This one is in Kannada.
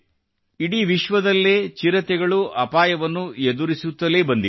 ಇಡೀ ವಿಶ್ವದಲ್ಲೇ ಚಿರತೆಗಳು ಅಪಾಯವನ್ನು ಎದುರಿಸುತ್ತಲೇ ಬಂದಿವೆ